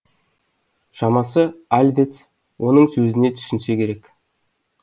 шамасы альвец оның сөзіне түсінсе керек